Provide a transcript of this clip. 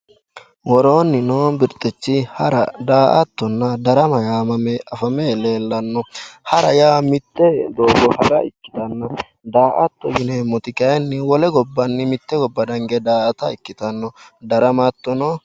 Worooni no birxichi hara, daa"attanna darama yamame afame leellano, ha'ra yaa mite doogo fafe hara ikkittanna, daa"atto yineemmoti kayinni wolewa hinge daa"atta ikkittano, darama hattono.